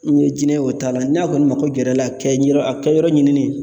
N ye jinɛ ye o ta la, n'a kɔni mako gɛrɛ la, a kɛ yɔrɔ a kɛ yɔrɔ ɲinini